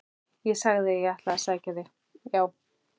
Ég sagði að ég ætlaði að sækja þig, já!